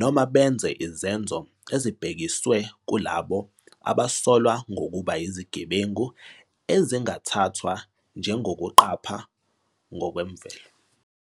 noma benze izenzo ezibhekiswe kulabo abasolwa ngokuba yizigebengu ezingathathwa njengokuqapha ngokwemvelo.